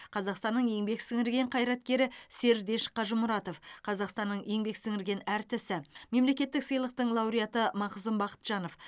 қазақстанның еңбек сіңірген қайраткері сердеш қажымұратов қазақстанның еңбек сіңірген әртісі мемлекеттік сыйлықтың лауреаты мақзұм бақытжанов